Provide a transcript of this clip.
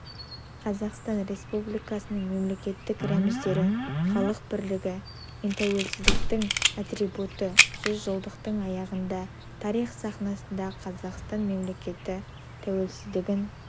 қазақстан республикасының мемлекеттік рәміздері халық бірлігі мен тәуелсіздіктің атрибуты жүзжылдықтың аяғында тарих сахнасында қазақстан мемлекеттік тәуелсіздігін